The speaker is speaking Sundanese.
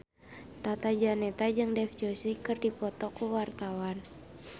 Tata Janeta jeung Dev Joshi keur dipoto ku wartawan